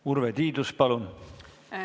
Urve Tiidus, palun!